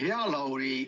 Hea Lauri!